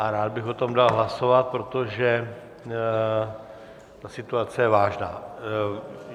A rád bych o tom dal hlasovat, protože ta situace je vážná.